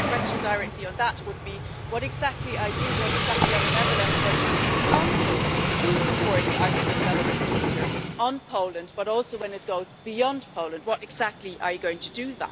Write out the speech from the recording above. My question directly on that would be what exactly are you what exactly are the Netherlands going to do in Council to support the Article 7 procedure on Poland but also, when it goes beyond Poland, what exactly are you going to do?